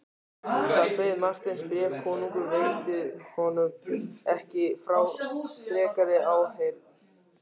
Þar beið Marteins bréf, konungur veitti honum ekki frekari áheyrn.